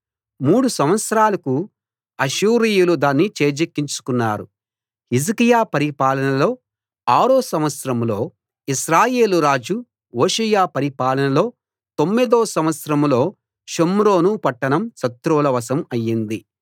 మూడు సంవత్సరాలకు అష్షూరీయులు దాన్ని చేజిక్కించుకున్నారు హిజ్కియా పరిపాలనలో ఆరో సంవత్సరంలో ఇశ్రాయేలు రాజు హోషేయ పరిపాలనలో తొమ్మిదో సంవత్సరంలో షోమ్రోను పట్టణం శత్రువుల వశం అయ్యింది